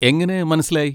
എങ്ങനെ മനസ്സിലായി?